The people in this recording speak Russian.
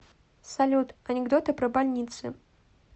салют анекдоты про больницы